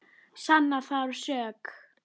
Sanna þarf sök.